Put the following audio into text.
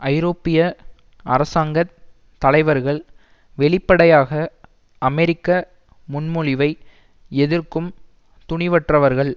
ஐரோப்பிய அரசாங்க தலைவர்கள் வெளிப்படையாக அமெரிக்க முன்மொழிவை எதிர்க்கும் துணிவற்றவர்கள்